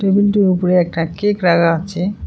Table টির উপরে একটা কেক রাখা আছে।